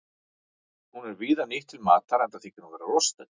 Hún er víða nýtt til matar enda þykir hún vera lostæti.